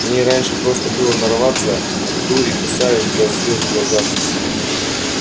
в ней раньше просто было нарваться дури кусаешь до звёзд в глазах